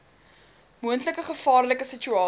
moontlike gevaarlike situasie